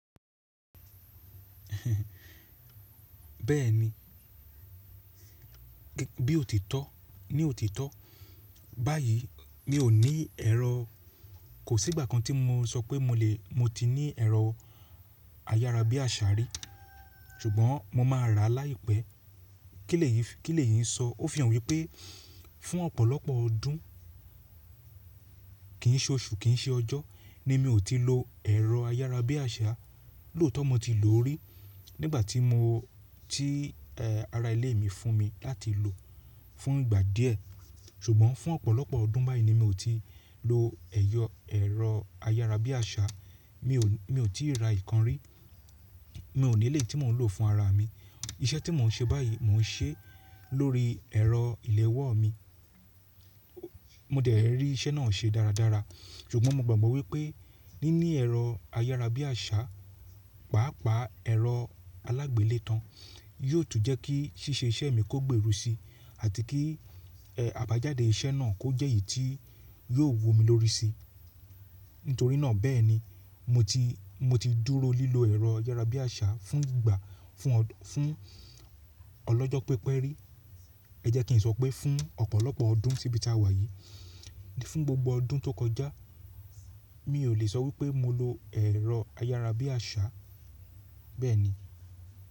Bẹ́ẹ̀ni, bí ó ti tọ́, ní òtítọ́ báyìí mi ò ní ẹ̀rọ, kò sí ìgbà kan tí mo sọ pé mo lè, mo ti ní ẹ̀rọ ayárabíàṣá rí ṣùgbọ́n mo máa rà láìpẹ́. Kí lè yín sọ? Ó fi hàn wípé fún ọ̀pọ̀lọpọ̀ ọdún kì í ṣe oṣù, kì í ṣe ọjọ́ ni mi ò ti lo ẹ̀rọ ayárabíàṣá. Lótọ̀ọ́ mo ti lò ó rí nígbà tí mo, tí ara ilé mi fún mi láti lò fún ìgbà díẹ̀ ṣùgbọ́n fún ọ̀pọ̀lọpọ̀ ọdún báyìí ni mi ò ti lo ẹ̀rọ ayárabíàṣá. Mi ò, mi ò tíì ra ìkan rí. Mi ò nílé tí mò ń lò fún ara mi. Iṣẹ́ tí mò ń ṣe báyìí mò ń ṣe lórí ẹ̀rọ ìléwọ́ mi. Mo dẹ̀ rí iṣẹ́ náà ṣe dáradára ṣùgbọ́n mo gbàgbọ́ wípé níní ẹ̀rọ ayárabíàṣá, pàápàá ẹ̀rọ alágbèlètán yóò tún jẹ́ kí ṣíṣe iṣẹ́ mi kó gbèrú si àti kí, ẹ́, àbájáde iṣẹ́ náà kó jẹ́ èyí tí yóò wu mi lórí si. Nítorí náà bẹ́ẹ̀ni mo ti, mo ti dúró lílo ẹ̀rọ ayárabíàṣá fún ìgbà, fún ọ̀, fún ọlọ́jọ́ pípẹ́ rí. Ẹ jẹ́ kí n sọ pé fún ọ̀pọ̀lọpọ̀ ọdún síbí ta wà yìí. Fún gbogbo ọdún tó kọjá mi ò lè sọ wípé mo lo ẹ̀rọ ayárabíàṣá, bẹ́ẹ̀ni.